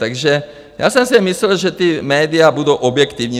Takže já jsem si myslel, že ta média budou objektivní.